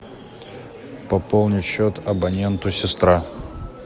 пополнить счет абоненту сестра